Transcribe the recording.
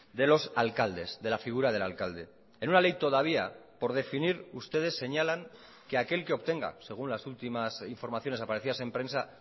de los alcaldes de la figura del alcalde en una ley todavía por definir ustedes señalan que aquel que obtenga según las últimas informaciones aparecidas en prensa